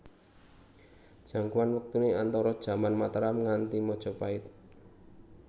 Jangkauan wektuné antara jaman Mataram nganti Majapait